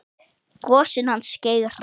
Gosinn hans Geira.